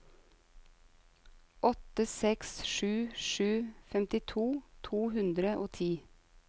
åtte seks sju sju femtito to hundre og ti